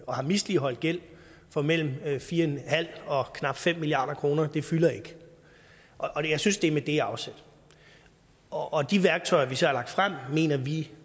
og har misligholdt gæld på mellem fire og knap fem milliard kr fylder ikke og jeg synes at det er med det afsæt og de værktøjer vi så har lagt frem mener vi